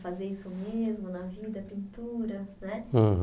Fazer isso mesmo na vida, pintura, né? Uhum